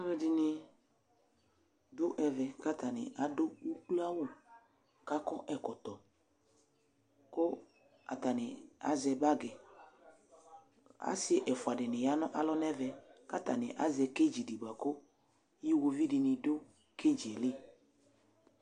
Alʋ ɛdɩnɩ dʋ ɛvɛ kʋ atanɩ adʋ ukloawʋ, kʋ akɔ ɛkɔtɔ, kʋ atanɩ azɛ bagɩ Asɩ ɛfʋa dɩnɩ ya nʋ alɔ nʋ ɛvɛ, kʋ atanɩ azɛ kedzi di bʋakʋ iwovi dɩnɩ dʋ kedzi yɛ li